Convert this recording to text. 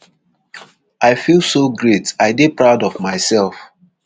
i feel so great i dey proud of myself